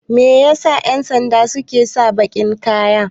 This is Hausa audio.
Me yasa 'yansanda suke saka bakin kaya?